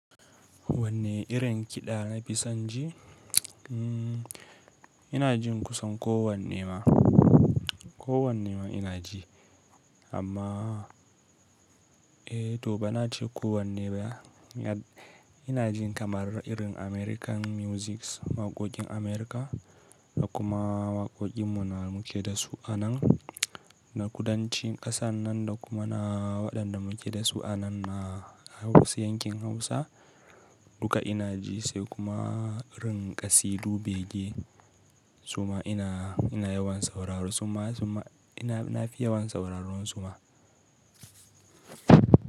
Wanne irin kiɗa na fi son ji? Ina jin kusan kowane ma, kowane ma ina ji amma eh to ba na ce kowane ba. Ina jin kamar irin American musics waƙoƙin America da kuma waƙoƙin mu na muke da su a nan na kudancin ƙasan nan da kuma na waɗanda muke da su anan na Hausa yankin Hausa duka ina ji sai kuma irin ƙasidu bege suma ina, ina yawan sauraro suma, suna ina na fi yawan sauraron su ma.